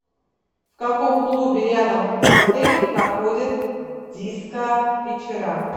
в каком клубе рядом с отелем проходят диско вечера